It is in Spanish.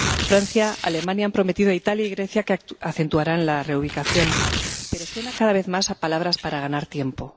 Francia y Alemania han prometido a Italia y a Grecia que aumentarán la reubicación, pero esto suena cada vez más a palabras para ganar tiempo.